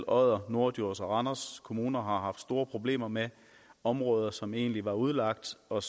odder norddjurs og randers kommuner har haft så store problemer med områder som egentlig var udlagt og